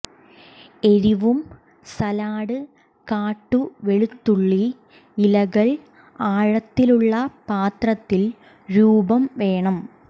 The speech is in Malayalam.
എരിവും സാലഡ് കാട്ടു വെളുത്തുള്ളി ഇലകൾ ആഴത്തിലുള്ള പാത്രത്തിൽ രൂപം വേണം